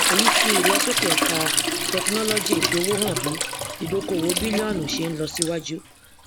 èyí fi ìlọsókè ẹka tẹkinọlọgìètòowó hàn bí ìdókóòwò bìlíọnù ṣe ń tèsíwájú